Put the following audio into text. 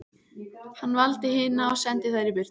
Hann valdi hina og sendi þær burt.